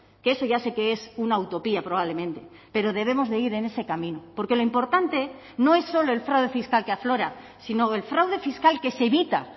que eso ya sé que es una utopía probablemente pero debemos de ir en ese camino porque lo importante no es solo el fraude fiscal que aflora sino el fraude fiscal que se evita